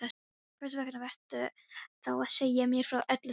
Hversvegna ertu þá að segja mér frá öllu þessu?